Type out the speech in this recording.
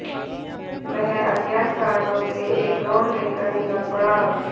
वह अज्ञात कारणों से एक रॉड लेकर निकल पडा